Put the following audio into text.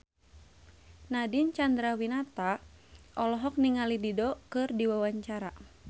Nadine Chandrawinata olohok ningali Dido keur diwawancara